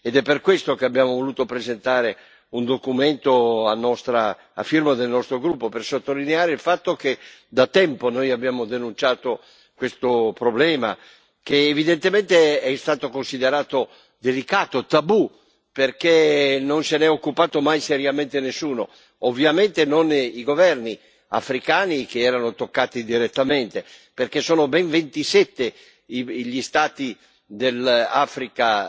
È per questo che abbiamo voluto presentare un documento alla firma del nostro gruppo, per sottolineare il fatto che da tempo noi abbiamo denunciato questo problema, che evidentemente è stato considerato delicato, tabù, perché non n'è occupato mai seriamente nessuno. Ovviamente, non i governi africani che erano toccati direttamente perché sono ben 27 gli Stati dell'Africa